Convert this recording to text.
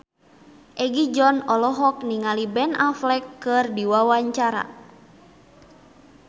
Egi John olohok ningali Ben Affleck keur diwawancara